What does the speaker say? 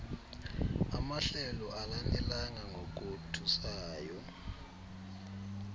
amahlelo alanelanga ngokothusayo